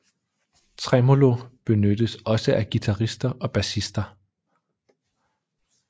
Tremolo benyttes også af guitarrister og basister